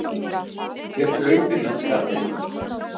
Þér hlaupið í skarðið!